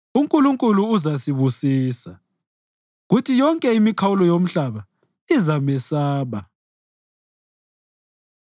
UNkulunkulu uzasibusisa, kuthi yonke imikhawulo yomhlaba izamesaba.